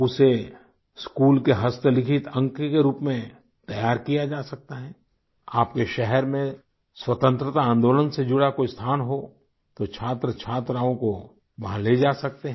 उसे स्कूल के हस्तलिखित अंक के रूप में तैयार किया जा सकता है आप के शहर में स्वतंत्रता आन्दोलन से जुड़ा कोई स्थान हो तो छात्र छात्राओं को वहाँ ले जा सकते हैं